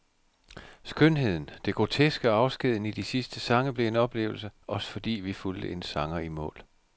Skønheden, det groteske og afskeden i de sidste sange blev en oplevelse, også fordi vi fulgte en sanger i mål.